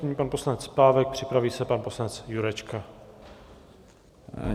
Nyní pan poslanec Pávek, připraví se pan poslanec Jurečka.